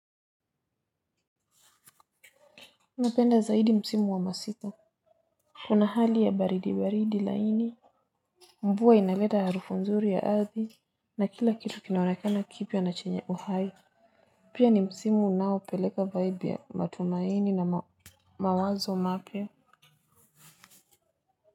Napenda zaidi msimu wa masika. Kuna hali ya baridi baridi laini. Mvua inaleta harufu nzuri ya ardhi. Na kila kitu kinaonekana kipya na chenye uhai. Pia ni msimu unaopeleka vibe ya matumaini na mawazo mapya.